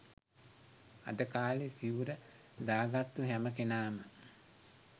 අද කාලෙ සිවුර දාගත්තු හැම කෙනාම